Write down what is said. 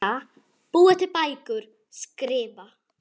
Lesa- búa til bækur- skrifa